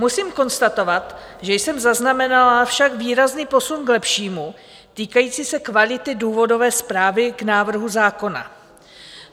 Musím konstatovat, že jsem zaznamenala však výrazný posun k lepšímu týkající se kvality důvodové zprávy k návrhu zákona.